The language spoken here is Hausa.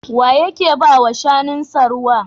Wa yake ba wa shanunsa ruwa?